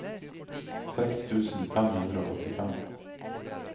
seks tusen fem hundre og åttifem